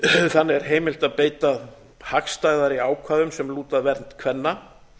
þannig er heimilt að beita hagstæðari ákvæðum sem lúta að vernd kvenna